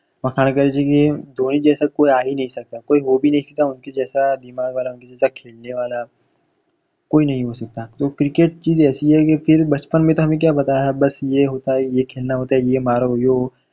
પઠાણ કહે છે કે ધોની જૈસા કોઈ આહી નહીં સકતા કોઈ હોભી નહીં સકતા ઉનકે જૈસા દિમાગ વાળા ઉનકે જૈસા ખેલને વાળા કોઈ નહીં હો સકતા તો cricket ચીજ એઇસી હૈ કી ફીર બચપન મે તો હમે ક્યાં બતાયા બસ યે હોતા હૈ યે ખેલના હોતા હૈ યે માર હુઇયો